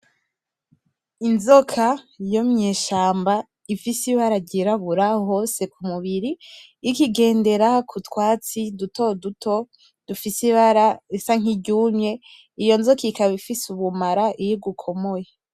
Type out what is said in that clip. Inzoka yo mw’ishamba ifise ibara ry’irabura hose kumubiri ikigendera kutwatsi duto duto dufise ibara risa nk’iryumye, iyo nzoka ikaba ifise ubumara iyo igukomoye .